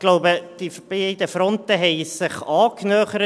Ich denke, die beiden Fronten haben sich angenähert.